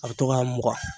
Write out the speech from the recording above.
A bɛ to k'a mugan